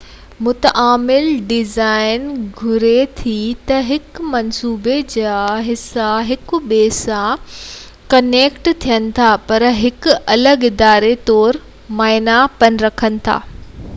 متعامل design گهري ٿي ته هڪ منصوبي جا حصا هڪ ٻئي سان ڪنيڪٽ ٿين ٿا، پر هڪ الڳ اداري طور معنيٰ پن رکن ٿا